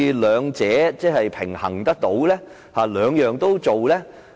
兩者應如何平衡和並存呢？